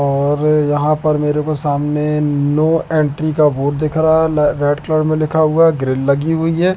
और यहां पर मेरे को सामने नो एंट्री का बोर्ड दिख रहा है रेड कलर में लिखा हुआ ग्रील लगी हुई है।